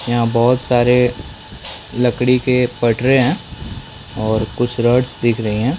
यहाँ बहुत सारे लकड़ी के पटरे है और कुछ रोड्स दिख रही हैं ।